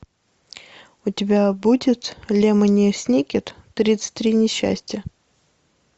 у тебя будет лемони сникет тридцать три несчастья